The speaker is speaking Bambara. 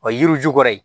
O ye yiri ju kɔrɔ ye